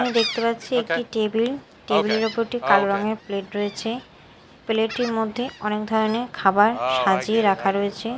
এখানে দেখতে পাচ্ছি একটি টেবিল টেবিল -এর ওপর একটি কালো রঙের প্লেট রয়েছে প্লেট -টির মধ্যে অনেক ধরনের খাবার সাজিয়ে রাখা রয়েছে।